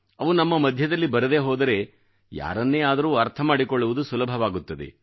ಅವು ನಮ್ಮ ಮಧ್ಯದಲ್ಲಿ ಬರದೇ ಹೋದರೆ ಯಾರನ್ನೇ ಆದರೂ ಅರ್ಥ ಮಾಡಿಕೊಳ್ಳುವುದು ಸುಲಭವಾಗುತ್ತದೆ